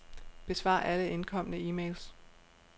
Besvar alle indkomne e-mails.